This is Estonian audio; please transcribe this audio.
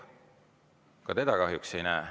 Ka teda kahjuks ei näe.